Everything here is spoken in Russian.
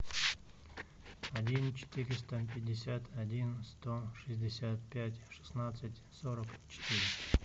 один четыреста пятьдесят один сто шестьдесят пять шестнадцать сорок четыре